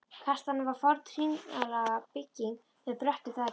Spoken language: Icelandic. Kastalinn var forn hringlaga bygging með bröttu þaki.